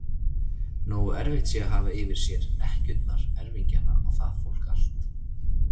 Nógu erfitt sé að hafa yfir sér ekkjurnar, erfingjana og það fólk allt!